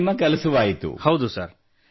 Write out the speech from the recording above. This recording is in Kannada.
ಹಾಗೂ ಇದರಿಂದ ನಿಮ್ಮ ಕೆಲಸವಾಯಿತು